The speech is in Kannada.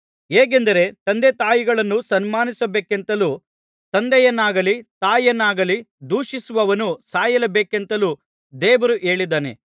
ಹೇಗೆಂದರೆ ತಂದೆತಾಯಿಗಳನ್ನು ಸನ್ಮಾನಿಸಬೇಕೆಂತಲೂ ತಂದೆಯನ್ನಾಗಲಿ ತಾಯಿಯನ್ನಾಗಲಿ ದೂಷಿಸುವವನು ಸಾಯಲೇಬೇಕೆಂತಲೂ ದೇವರು ಹೇಳಿದ್ದಾನೆ